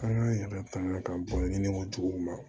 An k'an yɛrɛ tanga ka bɔ ni ne ko cogo min na